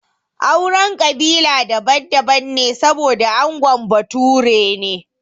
Auren kabila daban daban ne saboda angon bature ne